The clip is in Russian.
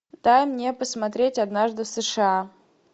дай мне посмотреть однажды в сша